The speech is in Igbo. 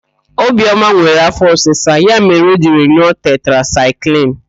Obioma nwere afọ ọsisa, ya mere o jiri n̄ụọ tetrasaịklịn.